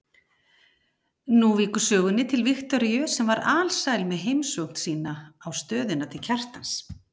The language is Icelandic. Nú víkur sögunni til Viktoríu sem var alsæl með heimsókn sína á stöðina til Kjartans.